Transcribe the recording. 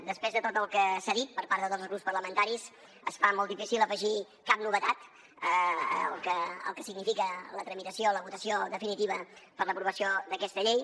després de tot el que s’ha dit per part de tots els grups parlamentaris es fa molt difícil afegir cap novetat al que significa la tramitació la votació definitiva per l’aprovació d’aquesta llei